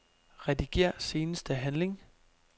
Rediger seneste handling.